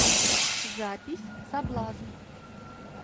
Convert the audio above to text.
запись соблазн